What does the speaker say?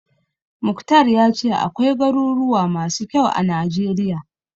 Mukhtar ya ce akwai garuruwa masu kyau a Najeriya.